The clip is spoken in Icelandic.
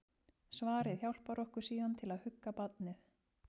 Svarið hjálpar okkur síðan til að hugga barnið.